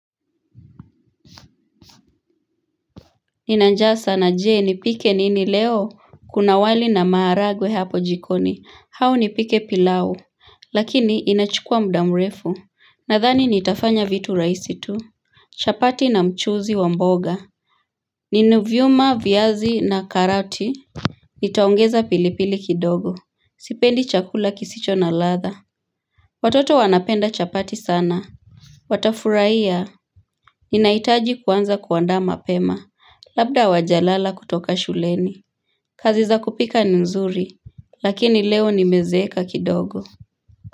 Nina njaa sana je, nipike nini leo Kuna wali na maharagwe hapo jikoni au nipike pilau Lakini inachukua muda mrefu Nadhani nitafanya vitu rahisi tu chapati na mchuzi wa mboga Nina vyuma viazi na karoti Nitaongeza pilipili kidogo Sipendi chakula kisicho na ladha Watoto wanapenda chapati sana Watafurahia Ninahitaji kuanza kuandaa mapema Labda hawajalala kutoka shuleni kazi za kupika ni nzuri Lakini leo nimezeeka kidogo.